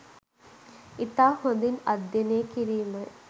ඉතා හොඳින් අධ්‍යයනය කිරීමයි